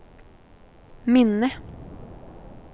minne